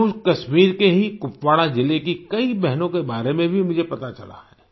जम्मूकश्मीर के ही कुपवाड़ा जिले की कई बहनों के बारे में भी मुझे पता चला है